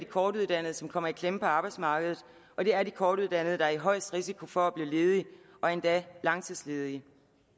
kortuddannede som kommer i klemme på arbejdsmarkedet og det er de kortuddannede der har højest risiko for at blive ledige og endda langtidsledige